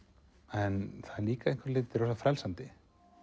en það er líka að einhverju leyti rosa frelsandi